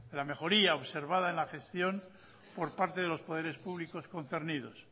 la mejoría observada en la gestión por parte de los poderes públicos concernidos